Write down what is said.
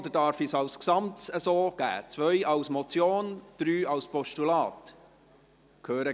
– Ich höre keine Opposition, somit stimmen wir über das Gesamte ab: